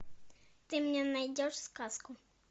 ты мне найдешь сказку